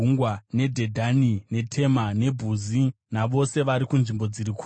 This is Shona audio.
neDhedhani, neTema, neBhuzi navose vari kunzvimbo dziri kure;